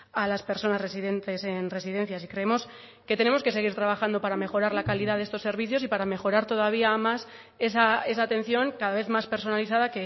a las personas residentes en residencias y creemos que tenemos que seguir trabajando para mejorar la calidad de estos servicios y para mejorar todavía más esa atención cada vez más personalizada